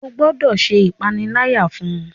O gbọdọ ṣe ìpaniláyà fún!